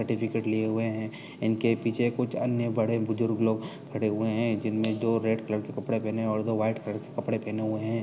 Certificate लिए हुए हैं इनके पीछे कुछ अन्य बड़े बुजुर्ग लोग खड़े हुए हैं जिनमे दो रेड कलर के कपड़े पहने और दो वाईट कलर के कपड़े पहने हुए हैं।